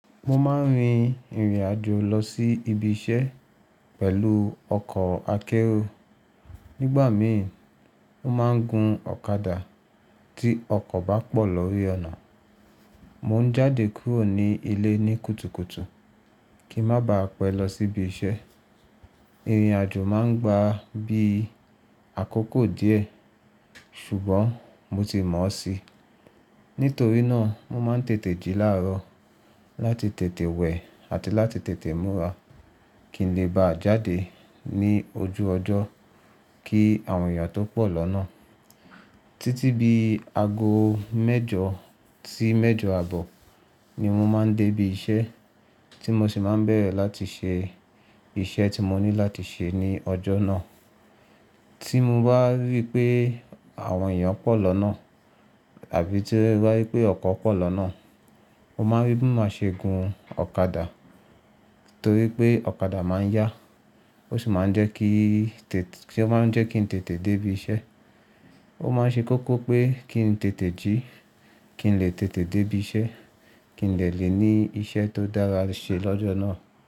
Mo máa ń rin ìrìn àjò lọ sí ibi iṣẹ́ pẹ̀lú ọkọ̀ akérò. Nígbà míì, mo máa ń gun ọ̀kadà tí ọkọ̀ bá pọ̀ lórí ọ̀nà. Mò ń jáde kúrò ní ilé ní kùtùkùtù kí ń má ba à pẹ́ lọ sí ibi iṣẹ́. Ìrìn àjò máa ń gba bí i àkókò díẹ̀ ṣùgbọ́n mo ti mọ̀ ọ́ sí. Nítorí náà, mo máa ń tètè jí láàárọ̀ láti tètè wẹ̀ àti láti tètè múra kí n lè bá jáde ní ojú ọjọ́ kí àwọn èèyàn tó pọ̀ lọ́nà. Títí bi ago mẹ́jọ sí mẹ́jọ àbọ̀ ni mo máa ń dé ibi iṣẹ́ tí mo sì máa ń bẹ̀rẹ̀ láti ṣe iṣẹ́ tí mo ní láti ṣe ní ọjọ́ náà. Tí mo bá rí pé àwọn èèyàn pọ̀ lọ́nà àbí tí mo bá rí pé ọkọ̀ pọ̀ lọ́nà, mo máa rí bí mo ṣe gun ọ̀kadà torí pé ọ̀kadà máa ń yá ó sì máa ń jẹ́ kí, ó máa ń jẹ́ kí n tètè dé ibi iṣẹ́. Ó máa ń ṣe kókó pé kí n tètè jí kí n lè tètè dé ibi iṣẹ́, kí n de lè ní iṣẹ́ tó dára ṣe lọ́jọ́ náà.